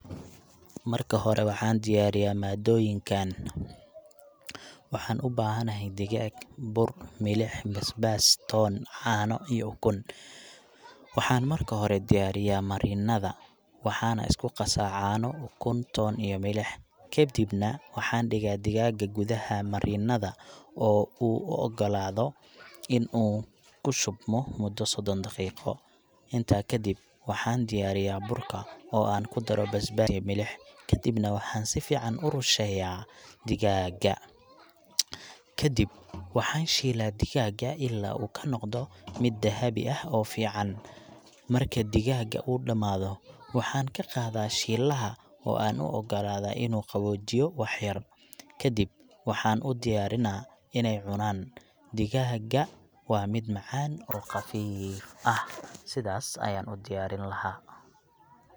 Marka hore, waxaan diyaariyaa maaddooyinkaan. Waxaan u baahanahay digaag, bur, milix, basbaas, toon, caano, iyo ukun. Waxaan marka hore diyaariyaa marinada, waxaana isku qasaa caano, ukun, toon, iyo milix. Kadibna, waxaan dhigaa digaagga gudaha marinada oo uu u ogolaadaa inuu ku shubmo muddo soddon daqiiqo. Intaa kadib, waxaan diyaarinaa burka oo aan ku daro basbaas iyo milix, kadibna waxaan si fiican ugu rusheeyaa digaagga. Ka dib waxaan shiilaa digaagga ilaa uu ka noqdo mid dahabi ah oo fiican. Marka digaagga uu dhamaado, waxaan ka qaadaa shiilaha oo aan u ogolaadaa inuu qaboojiyo waxyar. Ka dib waxaan u diyaarinaa inay cunaan. Digaagga waa mid macaan oo qafiif ah.sidaas ayaan u diyaarin lahaa.